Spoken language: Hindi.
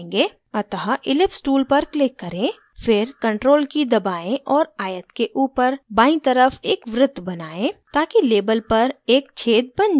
अतः ellipse tool पर click करें फिर ctrl key दबाएं और आयत के ऊपर बायीं तरफ एक वृत्त बनाएं ताकि label पर एक छेद बन जाये